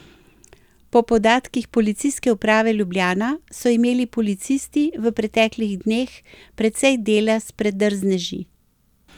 Po podatkih Policijske uprave Ljubljana so imeli policisti v preteklih dneh precej dela s predrzneži.